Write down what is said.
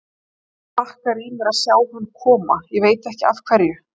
Hlakkar í mér að sjá hann koma, veit ekki af hverju.